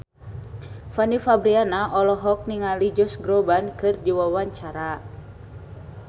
Fanny Fabriana olohok ningali Josh Groban keur diwawancara